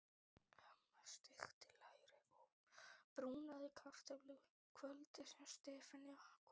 Amma steikti læri og brúnaði kartöflur kvöldið sem Stefán kom.